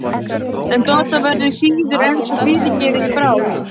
En Dodda verður síður en svo fyrirgefið í bráð!